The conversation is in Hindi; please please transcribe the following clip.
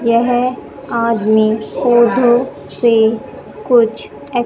यह आदमी पौधों से कुछ एक--